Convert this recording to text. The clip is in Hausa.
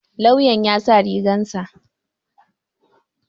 Lauyan ya sa rigar sa.